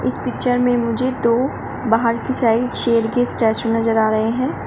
इस पिक्चर में मुझे दो बाहर की साइड शेर के स्टेचू नजर आ रहे हैं।